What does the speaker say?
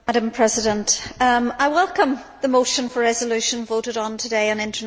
I welcome the motion for a resolution voted on today on international adoption.